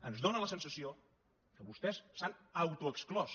ens dóna la sensació que vostès s’han autoexclòs